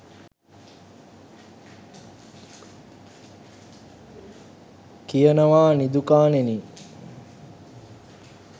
කියනවා නිදුකාණෙනි